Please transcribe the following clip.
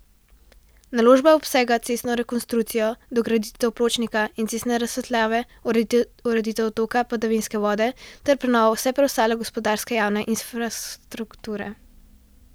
Naložba obsega cestno rekonstrukcijo, dograditev pločnika in cestne razsvetljave, ureditev odtoka padavinske vode ter prenovo vse preostale gospodarske javne infrastrukture.